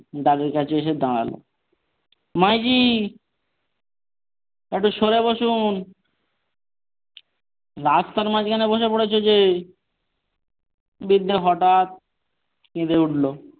দারের কাছে এসে দাড়ালো মা জী একটু সরে বসুন রাস্তার মাঝখানে বসে পড়েছ যে বৃদ্ধা হঠাৎ কেঁদে উঠলো।